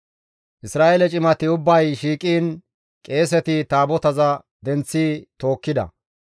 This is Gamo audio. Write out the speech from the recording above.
Isra7eele cimati ubbay shiiqiin qeeseti Taabotaza denththi tookkida.